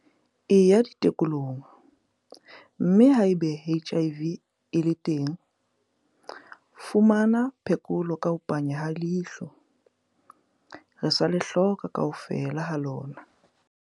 Eya ditekong, mme haeba HIV e le teng, fumana phekolo ka ho panya ha leihlo. Re sa le hloka kaofela ha lona!